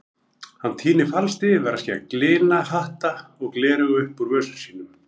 Hann tínir falskt yfirskegg, lina hatta og gleraugu upp úr vösum sínum.